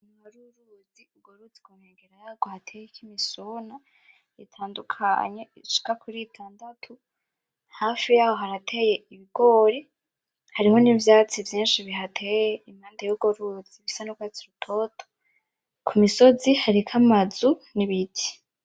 Hari uruzi urwo ruzi kunkengera yaho hateyeko imisona itandukanye hafi yaho harateye ibigori hariho nivyatsi vyinshi bihateye impande yurwo ruzi bisa nkurwatsi rutoto kumisozi hariko amazu nibiti .